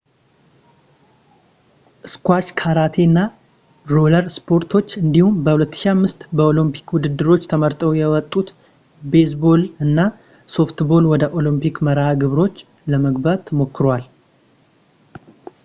ስኳሽ ካራቴ እና ሮለር ስፖርቶች እንዲሁም በ 2005 ከኦሎምፒክ ውድድሮች ተመርጠው የወጡት ቤዝ ቦል እና ሶፍት ቦል ወደ ኦሊምፒክ መርሃ ግብሮች ለመግባት ሞክረዋል